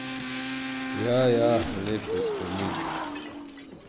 Ja, ja, lepi spomini ...